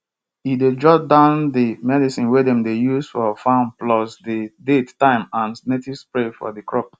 e dey jot down di medicine wey dem dey use for farm plus di date time an native spray for di crop